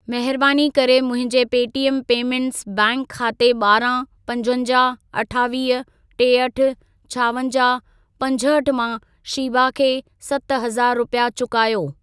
महिरबानी करे मुंहिंजे पेटीएम पेमेंटस बैंक खाते ॿारहं, पंजवंजाहु, अठावीह, टेहठि, छावंजाहु, पंजहठि मां शीबा खे सत हज़ार रुपिया चुकायो।